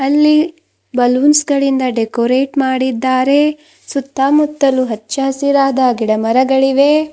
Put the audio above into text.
ಅಲ್ಲಿ ಬಲೂನ್ಸ್ ಗಳಿಂದ ಡೆಕೋರೇಟ್ ಮಾಡಿದ್ದಾರೆ ಸುತ್ತಮುತ್ತಲು ಹಚ್ಚಸಿರಾದ ಗಿಡ ಮರಗಳಿವೆ.